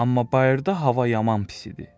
Amma bayırda hava yaman pis idi.